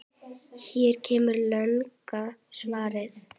Hér kemur langa svarið